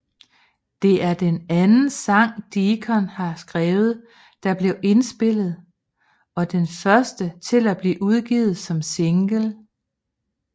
Det er den anden sang Deacon har skrevet der blev indspillet og den første til at blive udgivet som single